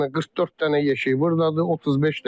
44 dənə yeşik burdadır.